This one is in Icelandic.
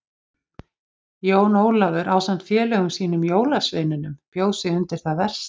Jón Ólafur ásamt félögum sínum jólasveinunum bjó sig undir það versta.